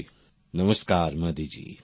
প্রেম জী নমস্কার মোদীজ